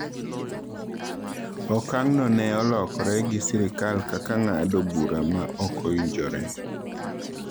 Okang’no ne olokore gi sirkal kaka ng’ado bura ma ok owinjore.